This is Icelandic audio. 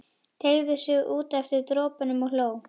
Teygði sig út eftir dropunum og hló.